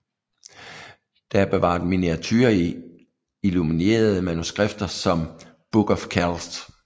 Der er bevaret miniaturer i illuminerede manuskripter som Book of Kells